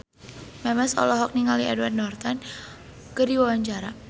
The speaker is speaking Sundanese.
Memes olohok ningali Edward Norton keur diwawancara